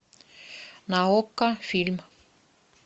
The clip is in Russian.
на окко фильм